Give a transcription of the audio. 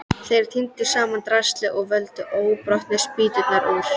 Þeir tíndu saman draslið og völdu óbrotnu spýturnar úr.